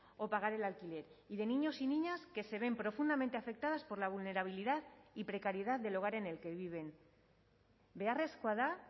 o pagar el alquiler y de niños y niñas que se ven profundamente afectadas por la vulnerabilidad y precariedad del hogar en el que viven beharrezkoa da